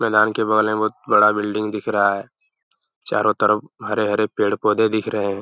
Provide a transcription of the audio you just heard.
मैदान के बगल में बहुत बड़ा बिल्डिंग दिख रहा है। चारों तरफ हरे-हरे पेड़-पौधे दिख रहे हैं।